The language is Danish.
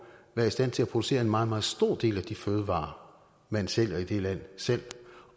være i stand til at producere en meget meget stor del af de fødevarer man sælger dér selv